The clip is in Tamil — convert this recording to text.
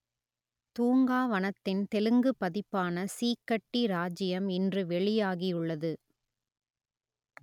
தூங்கா வனத்தின் தெலுங்குப் பதிப்பான சீக்கட்டி ராஜ்ஜியம் இன்று வெளியாகியுள்ளது